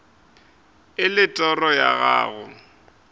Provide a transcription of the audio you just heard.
e le toro ya gago